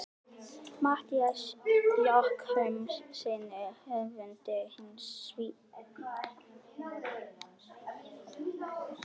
Matthíasi Jochumssyni höfundi hins sívinsæla Skugga-Sveins.